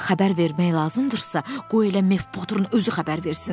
Xəbər vermək lazımdırsa, qoy elə Mev Potterin özü xəbər versin.